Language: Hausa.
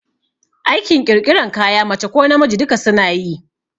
Aikin ƙirƙiran kaya mace ko namiji duka suna yi